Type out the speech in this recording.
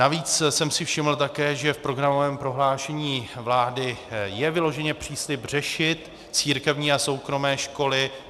Navíc jsem si všiml také, že v programovém prohlášení vlády je vyloženě příslib řešit církevní a soukromé školy.